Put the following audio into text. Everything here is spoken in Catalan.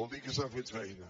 vol dir que s’ha fet feina